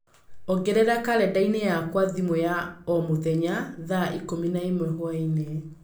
ongerera kalendani yakwa thimũ ya o mũthenya thaa ikũmi na ĩmwe hwaĩinĩ